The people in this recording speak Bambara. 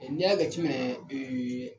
n'i y'a jate minɛn